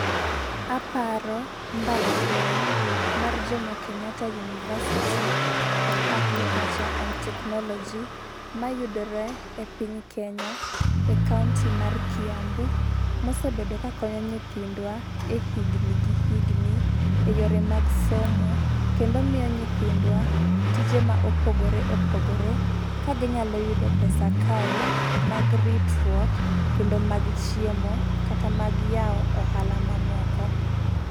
Aparo mbalariany mar Jomo Kenyatta University of Agriculture and Technology , mayudore e piny Kenya e county mar Kiambu ma osebedo ka konyo nyindwa e higni gi higni e yore mag somo kendo miyo nythindwa tije ma opogore opogore, ka gi nyalo yudo pesa kae mag ritruok kendo mag chiemo kata mag yao ohala ma moko.